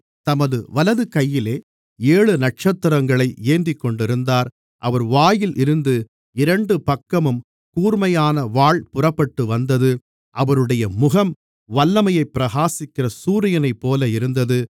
தமது வலது கையிலே ஏழு நட்சத்திரங்களை ஏந்திக்கொண்டிருந்தார் அவர் வாயில் இருந்து இரண்டு பக்கமும் கூர்மையான வாள் புறப்பட்டு வந்தது அவருடைய முகம் வல்லமையைப் பிரகாசிக்கிற சூரியனைப்போல இருந்தது